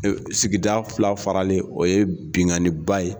Sigida fila faralen o ye binganin ba ye.